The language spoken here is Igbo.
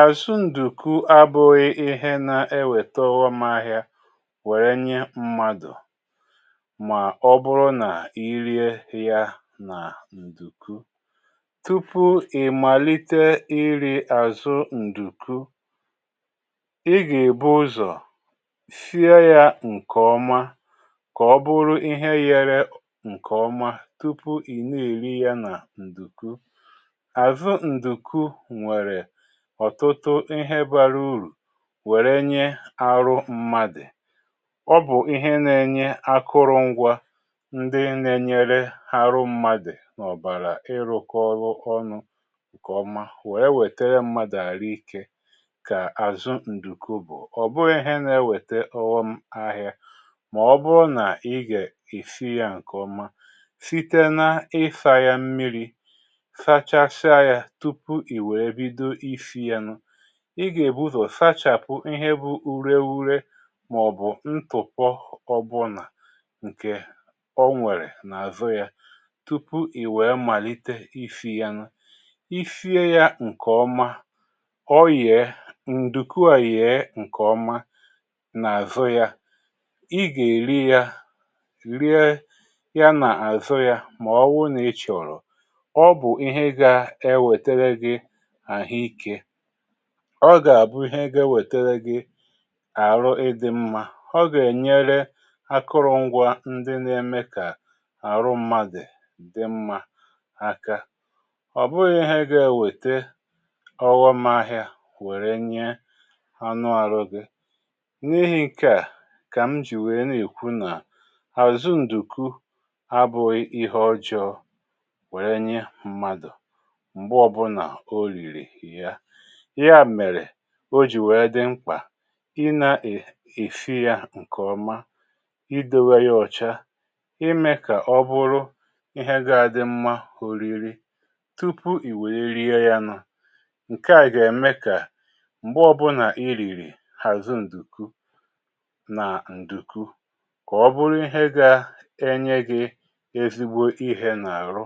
Azụ ǹdùku abụ̀ghị ihe na eweta ọghọm ahịa wèrè nye mmadụ̀ mà ọ bụrụ nà irie ya nà ǹdùku. Tupu ị̀ màlite iri̇ àzụ ǹdùku, ị gà-èbu ụzọ̀ shie ya ǹkèọma, kà ọ bụrụ ihe ghere ǹkèọma, tupu ị na-èri ya nà ǹdùku. Azụ nduku nwere ọ̀tụtụ ihe bàrà urù wère nye ahụ mmadụ̀. Ọ bụ̀ ihe nȧ-ėnyė akụrụ ngwȧ ndị nȧ-enyere ahụ mmadụ̀ nà ọ̀bàrà ịrụ̇kọ ọrụ ọnụ ǹkèọma wèe wètere mmadụ̀ àhụ ikė kà àzụ ǹdùku bụ̀. Ọ bụghị̇ ihe nȧ-ewète ọ̀ghọm ahịa mà ọ bụrụ nà ị gà esi ya ǹkèọma, site na isȧ ya mmiri̇, sachasị a ya tupu iwe bido isi ya. Ị gà-èbuzọ sachàpụ ihe bụ ure urė màọ̀bụ̀ ntùpọ ọbụ̀nà ǹkè o nwèrè n’àzụ yȧ tupu ì wèe màlite isi ya nụ. I sie ya ǹkèọma, o yèe, ǹdùku à yèe ǹkèọma n’àzụ ya, i gà-èri ya, rie ya n’àzụ ya mà ọ bụrụ nà ị chọ̀rọ̀. Ọ bụ ihe ga ewetara gị ahụ ike. Ọ gà-àbụ ihe ga-e wėtere gị ahụ ịdị mmȧ. Ọ gà-ènyere akụrụngwa ndị na-eme kà àhụ mmadụ dị mmȧ aka. Ọ bụghị̇ ihe ga-enwėte ọghọm ahị̇ȧ wère nye anụ ahụ gị. N’ihi̇ nke à kà m jì wère n’ekwu nà, àzụ ǹdùku abụ̇ghị ihe ọjọọ wère nye mmadụ̀ mgbe ọ bụla oriri ya. Ya mèrè o jì wèe dị mkpà ị na-èsi ya ǹkè ọma, idewe yȧ ọ̀cha, ime kà ọ bụrụ ihe ga-adị mmȧ oriri tupu ì wèe rie ya nụ. Nke à gà-ème kà m̀gbe ọbụlà i rìrì àzụ ǹdùku nà ǹdùku, kà ọ bụrụ ihe ga-enyė gị̇ ezigbo ihe n’àhụ,